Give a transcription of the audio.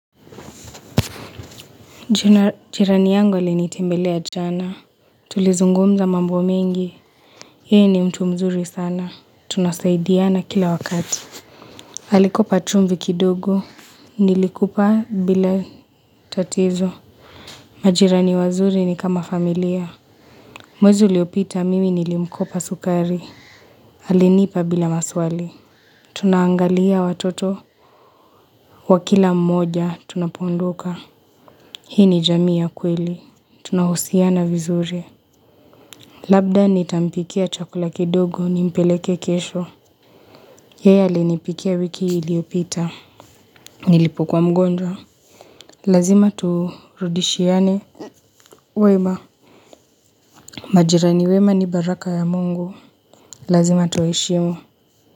Jirani yangu alinitembelea jana. Tulizungumza mambo mengi. Yeye ni mtu mzuri sana. Tunasaidiana kila wakati. Alikupa chumvi kidogo Nilikupa bila tatizo. Majirani wazuri ni kama familia. Mwezi uliopita mimi nilimkopa sukari. Alinipa bila maswali. Tunaangalia watoto wa kila mmoja. Tunapoodoka. Hii ni jamii ya kweli. Tunahusiana vizuri. Labda nitampikia chakula kidogo nimpeleke kesho Yeye aliniipikia wiki iliyopita Nilipokuwa mgonjwa Lazima turudishiane wema Majirani wema ni baraka ya Mungu Lazima tueshimolu.